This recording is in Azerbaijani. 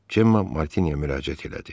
Cemma Martiniyə müraciət elədi.